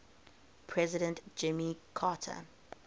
president jimmy carter